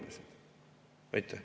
Ohvrid on oma inimesed.